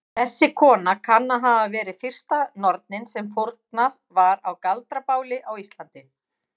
Þessi kona kann að hafa verið fyrsta nornin sem fórnað var á galdrabáli á Íslandi.